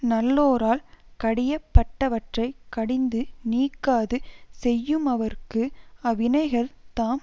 நல்லோரால் கடியப்பட்டவற்றைக் கடிந்து நீக்காது செய்யுமவர்க்கு அவ்வினைகள் தாம்